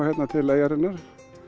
hingað til eyjarinnar